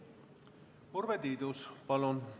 Urve Tiidus, palun!